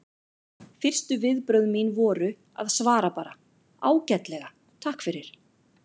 Fyrstu viðbrögð mín voru að svara bara: Ágætlega, takk fyrir